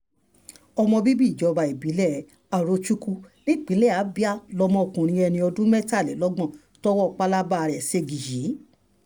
ọmọ bíbí ìjọba ìbílẹ̀ arochukwu um nípìnlẹ̀ abia lọmọkùnrin ẹni ọdún mẹ́tàlélọ́gbọ̀n tọwọ́ pápába rẹ̀ ṣẹ́gi yìí um